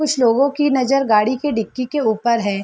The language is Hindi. कुछ लोगो की नजर गाड़ी के डिक्की के ऊपर है।